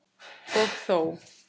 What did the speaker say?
Og þó!